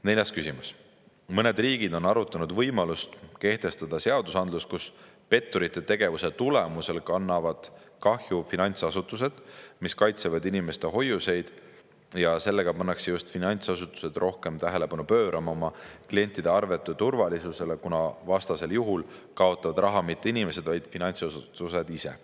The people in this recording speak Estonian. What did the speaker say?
Neljas küsimus: "Mõned riigid on arutanud võimalust kehtestada seadusandlus, kus petturite tegevuse tulemusel kannavad kahju finantsasutused, mis kaitsevad inimeste hoiuseid ja sellega pannakse just finantsasutused rohkem tähelepanu pöörama oma klientide arvete turvalisusele, kuna vastasel juhul kaotavad raha mitte inimesed, vaid finantsasutused ise.